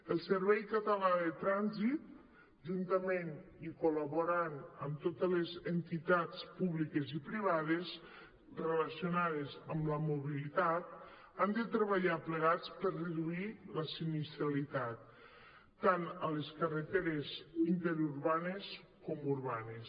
el servei català de trànsit juntament i col·laborant amb totes les entitats públiques i privades relacionades amb la mobilitat han de treballar plegats per reduir la sinistralitat tant a les carreteres interurbanes com urbanes